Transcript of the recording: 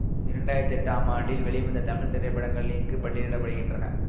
இரண்டு ஆயிரத்தி எட்டாம் ஆண்டில் வெளிவந்த தமிழ் திரைப்படங்கள் இங்கு பட்டியலிட படுகின்றன